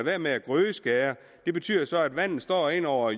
være med at grødeskære det betyder så at vandet står ind over